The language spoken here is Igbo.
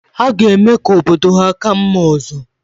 Ha ga-eme ka obodo ha ka mma ọzọ